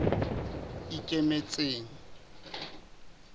ikemetseng